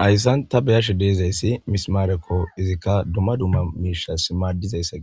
Haysan ta be'ishe dizaysi mismareko izika duma duma mishas madizaysa